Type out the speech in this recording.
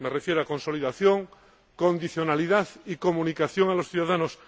Me refiero a la consolidación, la condicionalidad y la comunicación a los ciudadanos.